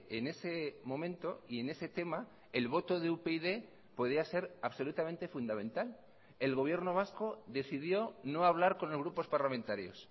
en ese momento y en ese tema el voto de upyd podía ser absolutamente fundamental el gobierno vasco decidió no hablar con los grupos parlamentarios